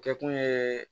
Kɛ kun ye